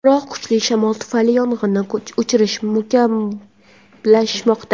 Biroq kuchli shamol tufayli yong‘inni o‘chirish murakkablashmoqda.